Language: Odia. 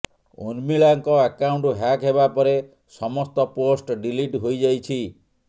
ଉର୍ମିଲାଙ୍କ ଆକାଉଣ୍ଟ ହ୍ୟାକ୍ ହେବା ପରେ ସମସ୍ତ ପୋଷ୍ଟ ଡିଲିଟ ହୋଇଯାଇଛି